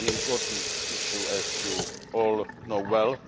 This is an important issue, as you all know well.